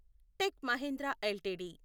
tech Mahindra LTD